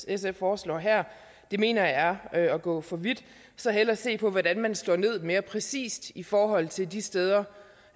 sf foreslår her mener jeg er at gå for vidt så hellere se på hvordan man slår ned mere præcist i forhold til de steder